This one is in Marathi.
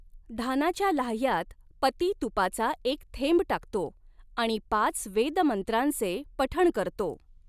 धानाच्या लाह्यांत पती तुपाचा एक थेंब टाकतो आणि पाच वेदमंत्रांचे पठण करतो.